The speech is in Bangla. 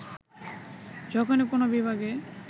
যখনি কোন বিভাগে